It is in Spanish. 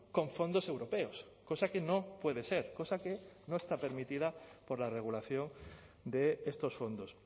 con fondos europeos cosa que no puede ser cosa que no está permitida por la regulación de estos fondos